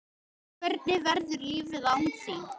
Hvernig verður lífið án þín?